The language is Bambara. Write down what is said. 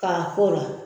K'a k'o la